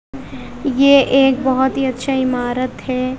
ये एक बहोत ही अच्छा इमारत है।